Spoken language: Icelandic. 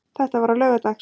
Þetta var á laugardags